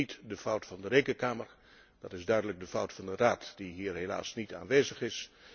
Dat is niet de fout van de Rekenkamer maar dat is duidelijk de fout van de Raad die hier helaas niet aanwezig is.